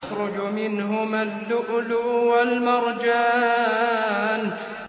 يَخْرُجُ مِنْهُمَا اللُّؤْلُؤُ وَالْمَرْجَانُ